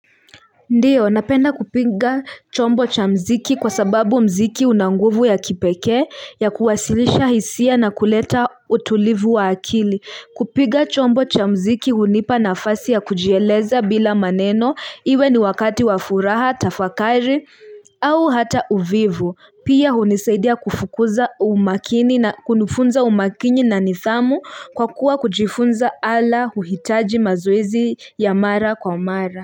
Ndio napenda kupinga chombo cha mziki kwa sababu mziki una nguvu ya kipeke ya kuwasilisha hisia na kuleta utulivu wa akili kupiga chombo cha mziki hunipa nafasi ya kujieleza bila maneno iwe ni wakati wafuraha tafakari au hata uvivu pia hunisaidia kufukuza umakini na kunufunza umakinye na nithamu kwa kuwa kujifunza ala uhitaji mazuizi ya mara kwa mara.